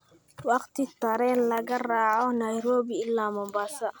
waqti tareen laga raaco nairobi ilaa mombasa